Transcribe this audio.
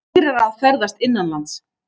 Dýrara að ferðast innanlands